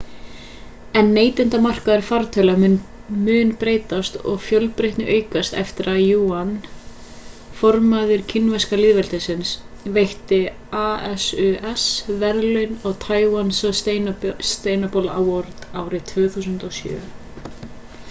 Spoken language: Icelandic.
en neytendamarkaður fartölva mun breytast og fjölbreytnin aukast eftir að yuan formaður kínverska lýðveldisins veitti asus verðlaun á taiwan sustainable award árið 2007